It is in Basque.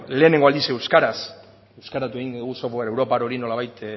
lehenengo aldiz euskaraz euskaratu egin dugu software europar hori nolabait